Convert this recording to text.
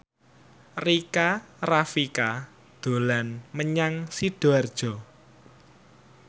Rika Rafika dolan menyang Sidoarjo